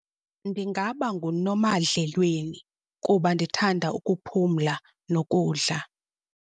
Ndingaba nguNomadlelweni kuba ndithanda ukuphumla nokudla.